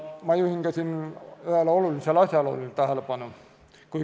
Ma juhin siin ühele olulisele asjaolule tähelepanu.